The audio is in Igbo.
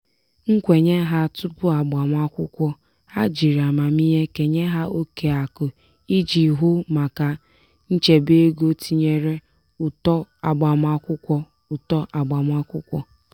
nkwenye ha tupu agbamakwụkwọ ha jiri amamiihe kenye ha oke akụ iji hụ maka nchebe ego tinyere ụtọ agbamakwụkwọ. ụtọ agbamakwụkwọ.